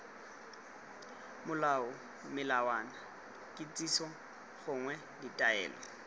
molao melawana dikitsiso gongwe ditaelo